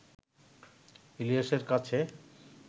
ইলিয়াসের কাছে